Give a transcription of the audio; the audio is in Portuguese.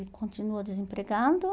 E continua desempregando.